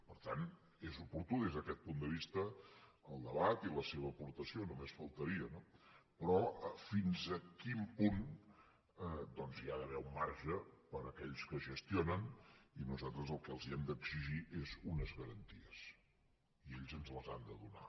per tant és oportú des d’aquest punt de vista el debat i la seva aportació només faltaria no però fins a quin punt doncs hi ha d’haver un marge per a aquells que gestionen i nosaltres el que els hem d’exigir és unes garanties i ells ens les han de donar